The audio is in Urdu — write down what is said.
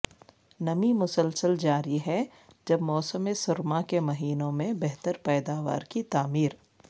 نمی مسلسل جاری ہے جب موسم سرما کے مہینوں میں بہتر پیداوار کی تعمیر